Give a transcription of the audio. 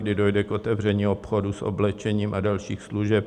Kdy dojde k otevření obchodů s oblečením a dalších služeb?